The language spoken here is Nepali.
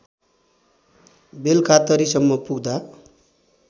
बेलकातरी सम्म पुग्दा